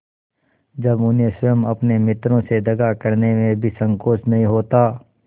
जब उन्हें स्वयं अपने मित्रों से दगा करने में भी संकोच नहीं होता